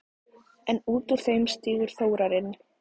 En út úr þeim stígur Þórarinn.